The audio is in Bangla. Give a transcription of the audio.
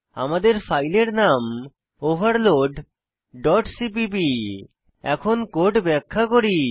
আমাদের ফাইলের নাম ওভারলোড ডট সিপিপি এখন কোড ব্যাখ্যা করি